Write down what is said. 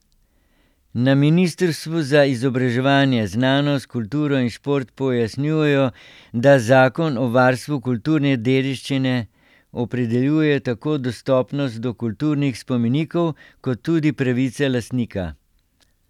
Na ministrstvu za izobraževanje, znanost, kulturo in šport pojasnjujejo, da zakon o varstvu kulturne dediščine opredeljuje tako dostopnost do kulturnih spomenikov kot tudi pravice lastnika.